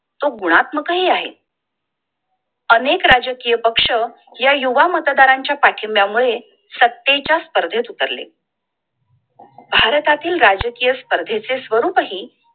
तो गुणात्माक हि आहे. अनेक राजकीय पक्ष या युवा मतदाराच्या पाठींब्या मूळे सत्ते च्या स्पर्धेत उतरले भारतातील राजकीय स्पर्धे चे स्वरूपहि